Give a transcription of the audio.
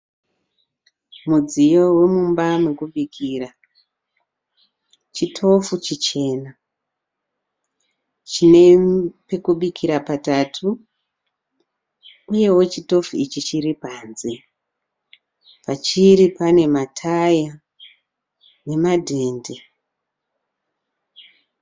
Mudziyo wemumba mekubikira. Chitofu chichena. Chinepekubikira patatu. Uyewo chitofu ichi chiripanze. Pachiri pane nataya nemadhende.